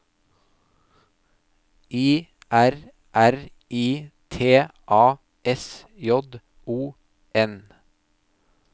I R R I T A S J O N